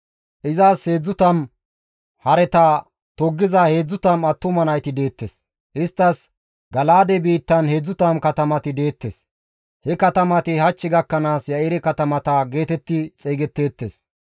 Izas 30 hareta toggiza 30 attuma nayti deettes; isttas Gala7aade biittan 30 katamati deettes; he katamati hach gakkanaas Ya7ire katamata geetetti xeygetteettes.